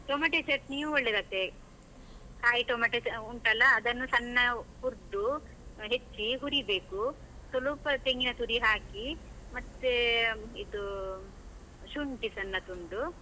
Tomato ಚಟ್ನಿಯು ಒಳ್ಳೆದಾತೇ, ಕಾಯಿ ಟೊಮೇಟೊ ಆ ಉಂಟಲ್ಲ, ಅದನ್ನು ಸಣ್ಣ ಹುರ್ದು, ಹೆಚ್ಚಿ ಹುರಿಬೇಕು, ಸೊಲುಪ ತೆಂಗಿನ ತುರಿ ಹಾಕಿ, ಮತ್ತೇ ಇದೂ, ಶುಂಠಿ ಸಣ್ಣ ತುಂಡು.